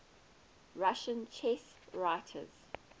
russian chess writers